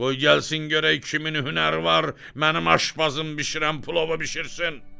Qoy gəlsin görək kimin hünəri var, mənim aşbazım bişirən plovu bişirsin.